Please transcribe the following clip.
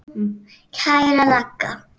Kæra Ragga.